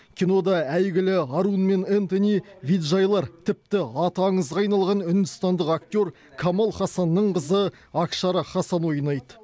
кинода әйгілі арун мен энтони виджайлар тіпті аты аңызға айналған үндістандық актер камал хасанның қызы акшара хасан ойнайды